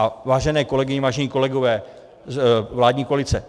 A vážené kolegyně, vážení kolegové, vládní koalice.